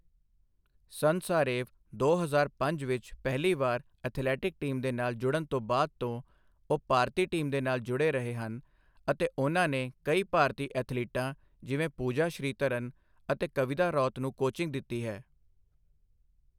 ਸਨੇਸਾਰੇਵ ਦੋ ਹਜ਼ਾਰ ਪੰਜ ਵਿੱਚ ਪਹਿਲੀ ਵਾਰ ਐਥਲੇਟਿਕਸ ਟੀਮ ਦੇ ਨਾਲ ਜੁੜਣ ਦੇ ਬਾਅਦ ਤੋਂ ਉਹ ਭਾਰਤੀ ਟੀਮ ਦੇ ਨਾਲ ਜੁੜੇ ਰਹੇ ਹਨ ਅਤੇ ਉਨ੍ਹਾਂ ਨੇ ਕਈ ਭਾਰਤੀ ਐਥਲੀਟਾਂ ਜਿਵੇਂ ਪੂਜਾ ਸ਼੍ਰੀਧਰਨ ਅਤੇ ਕਵਿਤਾ ਰਾਉਤ ਨੂੰ ਕੋਚਿੰਗ ਦਿੱਤੀ ਹੈ।